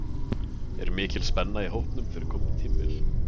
Er mikil spenna í hópnum fyrir komandi tímabili?